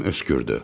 Əmim öskürdü.